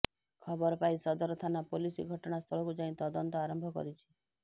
ଖବରପାଇ ସଦର ଥାନା ପୋଲିସ ଘଟଣା ସ୍ଥଳକୁ ଯାଇ ତଦନ୍ତ ଆରମ୍ଭ କରିଛି